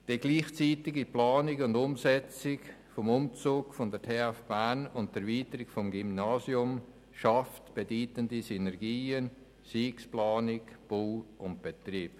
Die gleichzeitige Planung und Umsetzung des Umzugs der TF Bern und der Erweiterung des Gymnasiums Burgdorfs schaffen bedeutende Synergien, seien es Planung, Bau oder Betrieb.